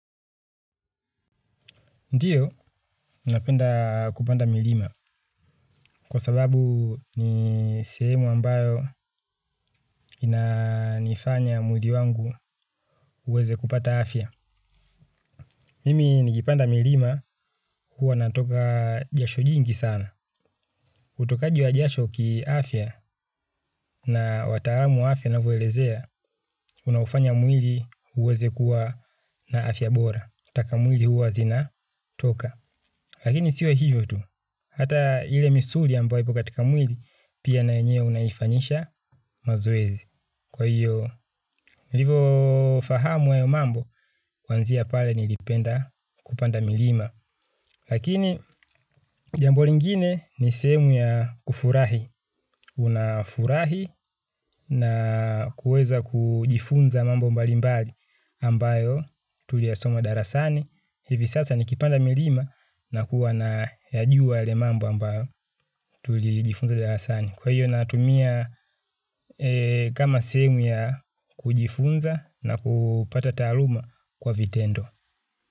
Ndiyo, napenda kupanda milima kwa sababu ni sehemu ambayo inanifanya mwili wangu uweze kupata afya. Mimi nikipanda milima huwa natoka jasho jingi sana. Utokaji wa jasho kiafya na wataalamu wa afya wanavyowelezea, unaufanya mwili uweze kuwa na afya bora. Taka mwili huwa zina toka. Lakini sio hivyo tu, hata ile misuli ambayo ipo katika mwili pia na yenyewe unaifanyisha mazoezi. Kwa hiyo, nilivyofahamu hayo mambo, kwanzia pale nilipenda kupanda milima. Lakini, jambo lingine ni sehemu ya kufurahi. Unafurahi na kuweza kujifunza mambo mbalimbali ambayo tuliyasoma darasani. Hivi sasa ni kipanda milima na kuwa nayajuwa yale mambo ambayo tulijifunza darasani. Kwa hiyo natumia kama sehemu ya kujifunza na kupata taaluma kwa vitendo.